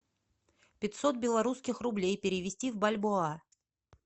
пятьсот белорусских рублей перевести в бальбоа